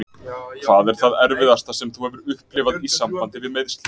Hvað er það erfiðasta sem þú hefur upplifað í sambandi við meiðslin?